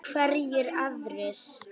Hverjir aðrir?